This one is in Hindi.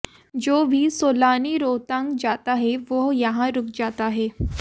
जो भी सैलानी रोहतांग जाता है वह यहां रूक जाता है